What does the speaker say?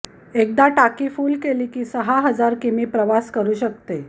एकदा टाकी फूल केली की सहा हजार किमी प्रवास करू शकते